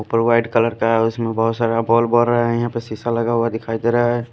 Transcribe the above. ऊपर white colour का है उसमें बहुत सारा बल्ब हो रहा है यहां पे शीशा लगा हुआ दिखाई दे रहा है।